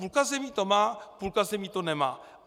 Půlka zemí to má, půlka zemí to nemá.